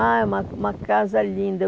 Ah, é uma uma casa linda. Eu